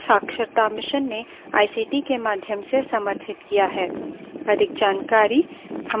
जिसे भारत सरकार के एमएचआरडी मंत्रालय के राष्ट्रीय शिक्षा mission ने आईसीटी के माध्यम से समर्थित किया है